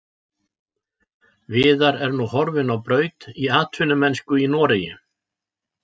Viðar er nú horfinn á braut í atvinnumennsku í Noregi.